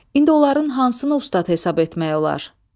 İndi onların hansını ustad hesab etmək olar?